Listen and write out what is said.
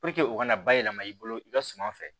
u ka na bayɛlɛma i bolo i ka suma fɛ